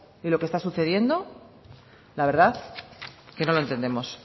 y lo que está sucediendo la verdad que no lo entendemos